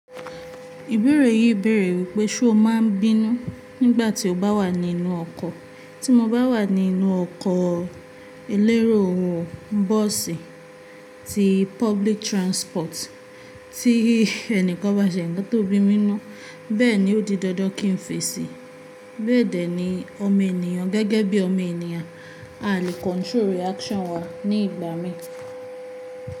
Ìbéèrè yìí béèrè wípé ṣe o máa ń bínú nígbà tí o bá wà nínú ọkọ̀. Tí mo bá wà nínú ọkọ̀ elérò, bọ́ọ̀sì, ti public transport, tí ẹnìkan bá ṣe ń tó bímí'nú. Bẹ́ẹ̀ ni, ó di dandan kí n fèsì. Bẹ́ẹ̀ dẹ́ ni ọmọ enìyàn gẹ́gẹ́ bí ọmọ enìyàn, a lè control reaction wa ní ìgbà mí.